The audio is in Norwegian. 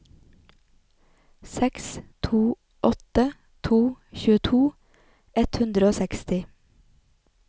seks to åtte to tjueto ett hundre og seksti